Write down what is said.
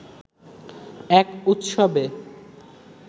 এক উৎসবে